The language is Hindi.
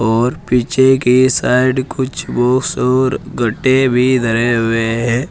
और पीछे की साइड कुछ बॉक्स और गड्डे भी धरे हुए हैं।